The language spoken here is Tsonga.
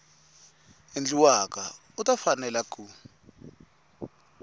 endliwaka u ta fanela ku